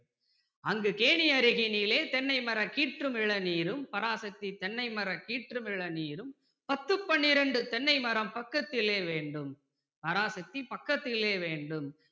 அங்கு கேணியருகினிலே தென்னைமரம் கீற்றும் இளநீரும் பராசக்தி தென்னை மர கீற்றும் இளநீரும் பத்து பன்னிரண்டு தென்னைமரம் பக்கத்திலே வேண்டும் பராசக்தி பக்கத்திலே வேண்டும்